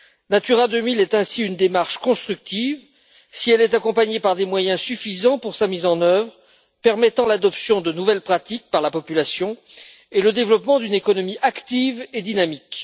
Natura 2000 est ainsi une démarche constructive si elle est accompagnée par des moyens suffisants pour sa mise en œuvre, permettant l'adoption de nouvelles pratiques par la population et le développement d'une économie active et dynamique.